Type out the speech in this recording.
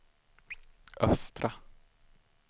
östra